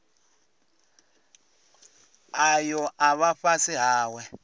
ayo a vha fhasi hawe